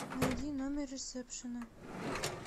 найди номер ресепшена